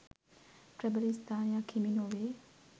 ප්‍රබල ස්ථානයක් හිමි නොවේ.